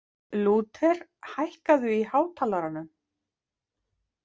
Lúther, hækkaðu í hátalaranum.